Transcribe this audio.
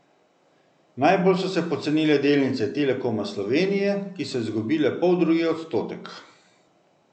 Najbolj so se pocenile delnice Telekoma Slovenije, ki so izgubile poldrugi odstotek.